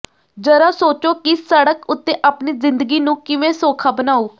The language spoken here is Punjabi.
ਜ਼ਰਾ ਸੋਚੋ ਕਿ ਸੜਕ ਉੱਤੇ ਆਪਣੀ ਜ਼ਿੰਦਗੀ ਨੂੰ ਕਿਵੇਂ ਸੌਖਾ ਬਣਾਉ